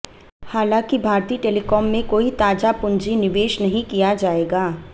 हालांकि भारती टेलीकॉम में कोई ताजा पूंजी निवेश नहीं किया जाएगा